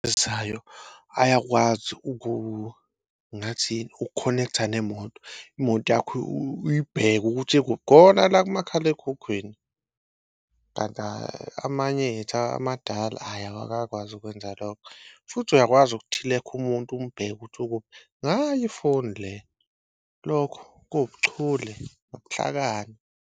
Ayakwazi ngathi uku-connect-a nemoto, imoto yakho uyibheke ukuthi ikuphi khona la kumakhalekhukhwini. Kanti amanye ethu amadala ayi awakakwazi ukwenza lokho, futhi uyakwazi ukuthilekha umuntu umbheke ukuthi ukuphi ngayo ifoni le. Lokho kuwubuchule nobuhlakani.